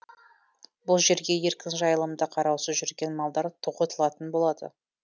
бұл жерге еркін жайлымда қараусыз жүрген малдар тоғытылатын болады